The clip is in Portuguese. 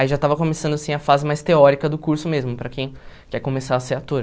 Aí já estava começando assim a fase mais teórica do curso mesmo, para quem quer começar a ser ator.